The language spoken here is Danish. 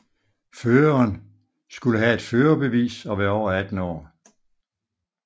Føreren skulle have et førerbevis og være over 18 år